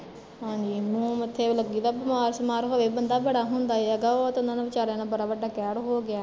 ਹਾਂਜੀ ਮੂਹ ਮੱਥੇ ਵੀ ਲੱਗੀ ਦਾ ਬਿਮਾਰ ਸਿਮਾਰ ਹੋਵੇ ਬੰਦਾ ਬੜਾ ਹੁੰਦਾ ਹੈਗਾ, ਉਹ ਤੇ ਓਹਨਾਂ ਨਾਲ਼ ਵਿਚਾਰਿਆ ਨਾਲ਼ ਬੜਾ ਵੱਡਾ ਕਹਿਰ ਹੋਗਿਆ ਆ